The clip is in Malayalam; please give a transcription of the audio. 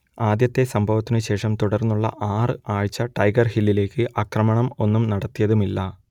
ആദ്യത്തെ സംഭവത്തിനു ശേഷം തുടർന്നുള്ള ആറ് ആഴ്ച ടൈഗർ ഹില്ലിലേക്ക് ആക്രമണം ഒന്നും നടത്തിയുമില്ല